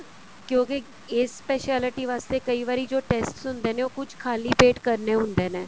ਕਿਉਂਕਿ age specialty ਵਾਸਤੇ ਕਈ ਵਾਰੀ ਜੋ tests ਹੁੰਦੇ ਨੇ ਕੁੱਝ ਖ਼ਾਲੀ ਪੇਟ ਕਰਨੇ ਹੁੰਦੇ ਨੇ